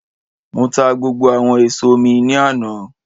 Mo ta gbogbo àwọn èso mi ní àná